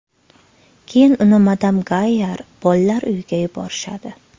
Keyin uni Madam Gayyar bolalar uyiga yuborishadi.